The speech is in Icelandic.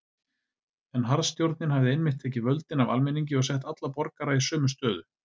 En harðstjórnin hafði einmitt tekið völdin af almenningi og sett alla borgara í sömu stöðu.